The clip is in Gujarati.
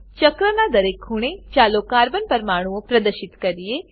ચક્રનાં દરેક ખૂણે ચાલો કાર્બન પરમાણુઓ પ્રદર્શિત કરીએ